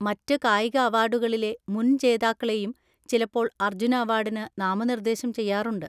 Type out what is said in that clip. മറ്റ് കായിക അവാർഡുകളിലെ മുൻ ജേതാക്കളെയും ചിലപ്പോൾ അർജുന അവാർഡിന് നാമനിർദ്ദേശം ചെയ്യാറുണ്ട്.